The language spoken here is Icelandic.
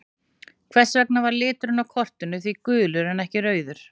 Hvers vegna var liturinn á kortinu því gulur en ekki rauður?